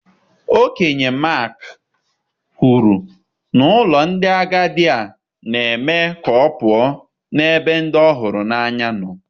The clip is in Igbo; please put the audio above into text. Okenye Maakị kwuru na ụlọ ndị agadi a na-eme ka ọ pụọ n'ebe ndị ọ hụrụ n'anya nọ.